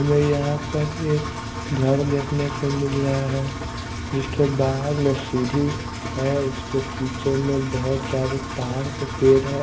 हमें यहाँ पर एक धर देखने को मिल रहा है जिसके बाहर में सीढ़ी है उसके पीछे में बहुत सारे तार से पेड़ है।